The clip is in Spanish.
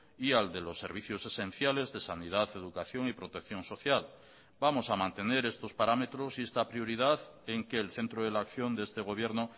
y al de los servicios esenciales de sanidad educación y protección social vamos a mantener estos parámetros y esta prioridad en que el centro de la acción de este gobierno